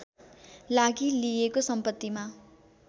लागि लिइएको सम्पत्तिमा